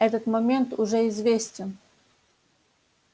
этот момент уже известен